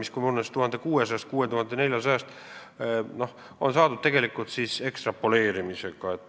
See vahemik 1600–6400 on saadud ekstrapoleerimisega.